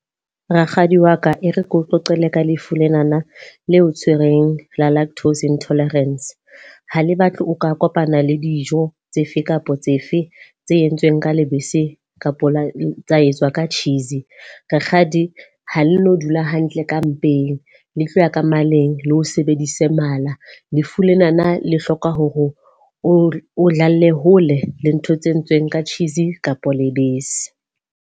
Rakgadi wa ka ere keo qoqele ka lefu lenana le o tshwereng la lactose intolerance. Ha le batle o ka kopana le dijo tsefe kapa tsefe tse entsweng ka lebese kapa la tsa etswa ka cheese. Rakgadi ha le no dula hantle ka mpeng, le tlo ya ka maleng, le o sebedise mala. Lefu lenana le hloka hore o dlalle hole le ntho tse entsweng ka cheese kapa lebese.